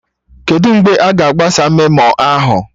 Kedụ mgbe aga agbasa memo ahụ?